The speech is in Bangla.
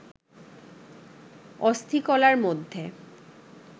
অস্থিকলার মধ্যে